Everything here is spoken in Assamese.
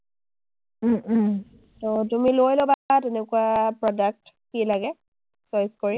অ, তুমি লৈ ল’বা তেনেকুৱা product কি লাগে খৰচ কৰি।